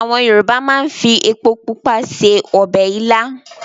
Àwọn Yorùbá máa ń fi epo pupa se ọbẹ̀ ilá.